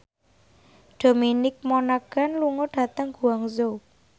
Dominic Monaghan lunga dhateng Guangzhou